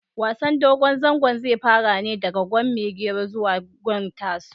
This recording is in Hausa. Wasan dogon zango zai fara ne daga gwan maigero zuwa gwan tasu